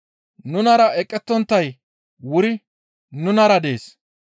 Nunara eqettonttay wuri nunara dees.